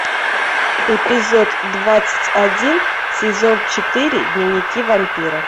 эпизод двадцать один сезон четыре дневники вампира